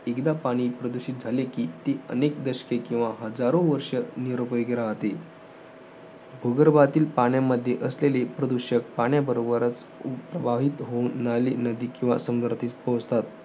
एकदा पाणी प्रदूषित झाले कि, अनेक दशके किंवा हजारो वर्ष निरुपयोगी राहतील. भूगर्भातील पाण्यामध्ये असलेली प्रदूषक पाण्याबरोबरच प्रवाही होऊन, नाली नदी किंवा समुद्रात पोहोचतात.